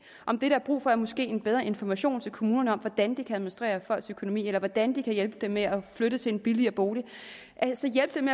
om det der er brug for måske er en bedre information til kommunerne om hvordan de kan administrere folks økonomi eller hvordan de kan hjælpe dem med at flytte til en billigere bolig altså hjælpe dem